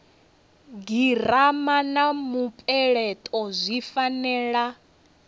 girama na mupeleto zwi fanela